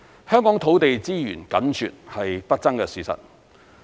香港土地資源緊絀，是不爭的事實。